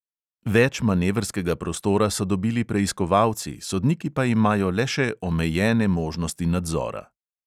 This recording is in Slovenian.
Več manevrskega prostora so dobili preiskovalci, sodniki pa imajo le še omejene možnosti nadzora.